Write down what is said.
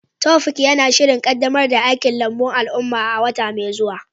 Taofiq yana shirin kaddamar da aikin lambun al'umma a wata mai zuwa.